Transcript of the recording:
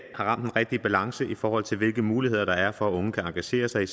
har ramt den rigtige balance i forhold til hvilke muligheder der er for at de unge kan engagere sig i